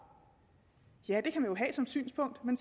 ja det kan man jo have som synspunkt men